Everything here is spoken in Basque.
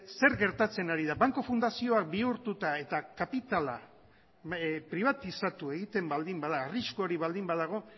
zer gertatzen ari da banku fundazioak bihurtuta eta kapitala pribatizatu egiten baldin bada arrisku hori baldin badago